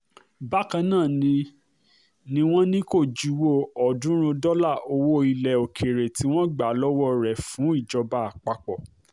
bákan náà ni ni wọ́n ní kó juwọ́ ọ̀ọ́dúnrún dọ́là owó ilẹ̀ òkèèrè tí wọ́n gbà lọ́wọ́ rẹ̀ fún ìjọba àpapọ̀